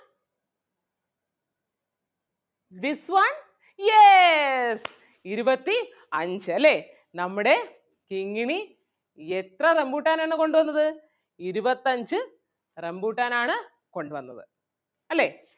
this one yes ഇരുപത്തി അഞ്ച് അല്ലേ നമ്മുടെ കിങ്ങിണി എത്ര റംബൂട്ടാൻ ആണ് കൊണ്ട് വന്നത് ഇരുപത്തഞ്ച് റംബൂട്ടാൻ ആണ് കൊണ്ട് വന്നത് അല്ലെ?